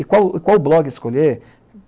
E qual, qual blog escolher?